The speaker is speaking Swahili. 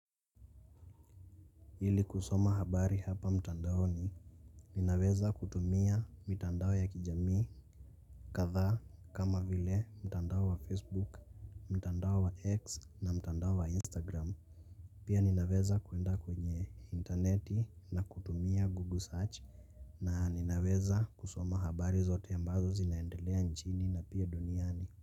Ili kusoma habari hapa mtandao ni ninaweza kutumia mitandao ya kijamii kadhaa kama vile mtandao wa facebook mtandao wa x na mtandao wa instagram pia ninaweza kuenda kwenye intaneti na kutumia google search na ninaweza kusoma habari zote ambazo zinaendelea nchini na pia duniani.